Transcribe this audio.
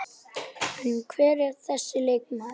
En hver er þessi leikmaður?